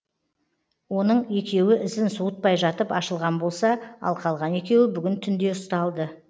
оның екеуі ізін суытпай жатып ашылған болса ал қалған екеуі бүгін түнде ұсталды